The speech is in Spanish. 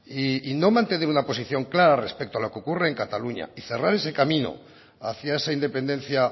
y no mantener una posición clara respecto a lo que ocurre en cataluña y cerrar ese camino hacia esa independencia